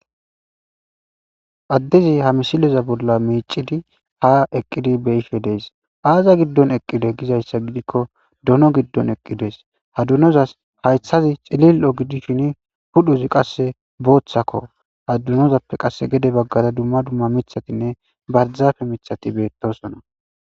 Addezi ha misileza bolla miicidi ha eqqidi be'ishe dees. Aaza giddon eqqide gizaysa gidiko dono giddon eqqidees. Ha donozas haythazi cililo gidishin pudhozi qasse boothako. Ha donozappe gede baggara dumma dumma mithatinne barzafe miththati doosona.